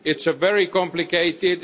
It's very complicated.